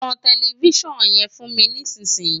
tan tẹlifísàn yẹn fún mi nísìn yìí!